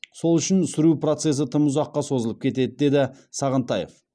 сол үшін сүру процесі тым ұзаққа созылып кетеді деді сағынтаев